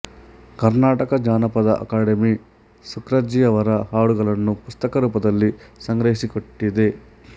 ಕರ್ನಾಟಕ ಜಾನಪದ ಅಕಾಡೆಮಿ ಸುಕ್ರಜ್ಜಿಯವರ ಹಾಡುಗಳನ್ನು ಪುಸ್ತಕ ರೂಪದಲ್ಲಿ ಸಂಗ್ರಹಿಸಿಟ್ಟಿದೆ